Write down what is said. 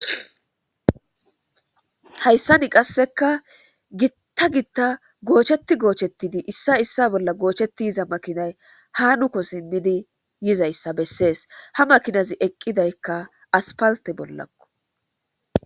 Hayssani qasseka gitta gitta goocheti goochettidi issa issa bolla goocheti yiza makinay hanuko simmidi yizayssa bessees ha makinazi eqqidaykka aspalte bollakko.